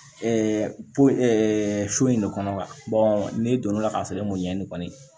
so in de kɔnɔ wa n'e don l'a sɔrɔ e m'o ɲɛɲini kɔni